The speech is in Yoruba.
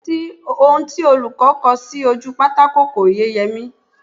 Ohun tí olùkọ́ kọ sí ojú pátákò kò yé Yẹmí